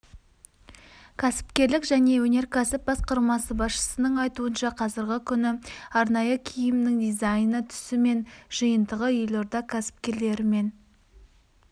кәсіпкерлік және өнеркәсіп басқармасы басшысының айтуынша қазіргі күні арнайы киімнің дизайны түсі мен жиынтығы елорда кәсіпкерлерімен